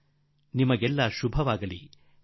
ಅನಂತಾನಂತ ಶುಭಾಶಯಗಳು